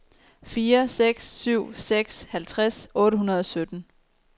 fire seks syv seks halvtreds otte hundrede og sytten